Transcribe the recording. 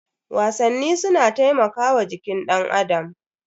Wasanni suna taimakawa jikin danAdam.